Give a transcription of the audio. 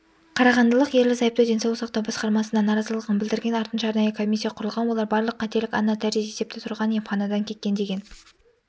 қарағандылық ерлі-зайыпты денсаулық сақтау басқармасына наразылығын білдірген артынша арнайы комиссия құрылған олар барлық қателік анна терзи есепте тұрған еміанадан кеткен деген